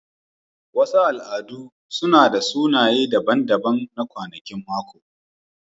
Wasu al'adu suna da sunaye daban-daban na kwanakin mako.